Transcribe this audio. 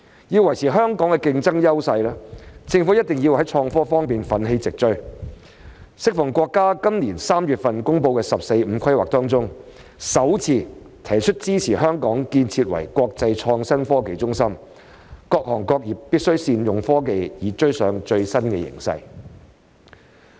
要維持香港的競爭優勢，政府—定要在創科方面奮起直追，適逢國家在今年3月公布的"十四五"規劃中，首次提出支持香港建設為國際創新科技中心，各行各業必須善用科技以追上最新形勢。